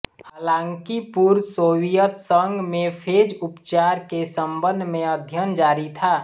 हालांकि पूर्व सोवियत संघ में फेज उपचार के संबंध में अध्ययन जारी था